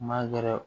Ma gɛrɛ